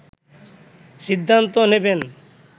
সিদ্ধান্ত নেবেন